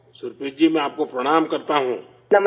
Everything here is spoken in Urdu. سپریت جی، میں آپ کو پرنام کرتا ہوں